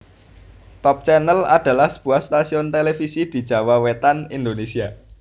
Top Channel adalah sebuah stasiun televisi di Jawa Wetan Indonesia